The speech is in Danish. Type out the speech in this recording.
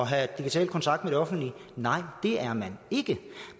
have digital kontakt med det offentlige nej det er man ikke